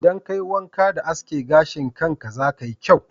Idan ka yi wanƙa da aske gashin ka, za ka yi kyau